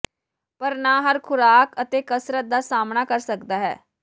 ਪਰ ਨਾ ਹਰ ਖੁਰਾਕ ਅਤੇ ਕਸਰਤ ਦਾ ਸਾਮ੍ਹਣਾ ਕਰ ਸਕਦਾ ਹੈ